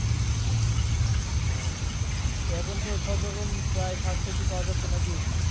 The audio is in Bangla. হ্যাঁ তো এখন তো সবরকম প্রায় শাকসবজি পাওয়া যাচ্ছে নাকি?